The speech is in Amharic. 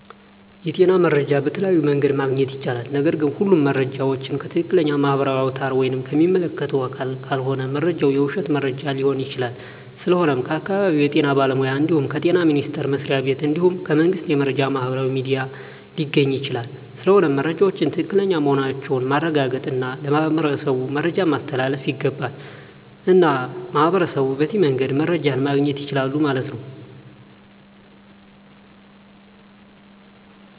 የጤና መረጃ በተለያዮ መንገድ ማግኘት ይቻላል ነገርግ ሁሉም መረጃ ዎችን ከትክለኛ ማህበራዊ አውታር ወይም ከሚመለከተው አካል ካልሆነ መረጃው የውሽት መረጃ ሊሆን ይችላል ስለሆነም ከአካባቢው የጤና ባለሙያ እንድሁም ከጤና ሚኒስተር መስሪያ ቤት እንድሁም ከመንግስት የመረጃ ማህበራዊ ሚዲያ ሊገኝ ይቻላል ስለሆነም መረጃወች ትክክለኛ መሆናቸውን ማረጋገጥ እና ለማህበረሠቡ መረጃን ማስተላለፍ ይገባል። እና ሚህበረሸቡ በዚህ መንገድ መረጃ ማገኘት ይችላሉ ማለት ነው